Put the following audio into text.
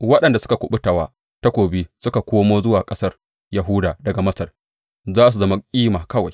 Waɗanda suka kuɓuta wa takobi suka komo zuwa ƙasar Yahuda daga Masar za su zama kima kawai.